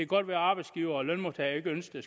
godt være at arbejdsgivere og lønmodtagere ikke ønsker